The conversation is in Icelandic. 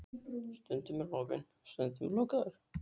Stundum er hann opinn, stundum lokaður.